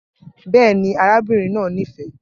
Bẹ́ẹ̀ ni, arábìnrin náà nífẹ̀ẹ́